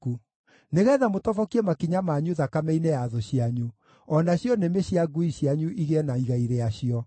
nĩgeetha mũtobokie makinya manyu thakame-inĩ ya thũ cianyu, o nacio nĩmĩ cia ngui cianyu igĩe na igai rĩacio.”